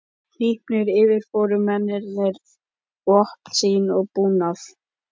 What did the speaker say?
Hnípnir yfirfóru mennirnir vopn sín og búnað.